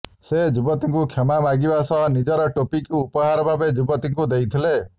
ସେ ଯୁବତୀଙ୍କୁ କ୍ଷମା ମାଗିବା ସହ ନିଜର ଟୋପିକୁ ଉପହାର ଭାବେ ଯୁବତୀଙ୍କୁ ଦେଇଥିଲେ